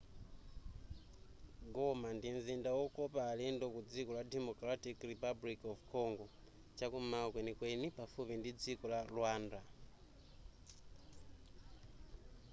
goma ndi mzinda wokopa alendo ku dziko la democratic republic of congo chakum'mawa kwenikweni pafupi ndi dziko la rwanda